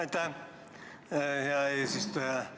Aitäh, hea eesistuja!